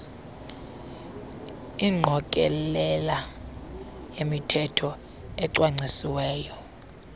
ingqokelela yemithetho ecwangcisiweyo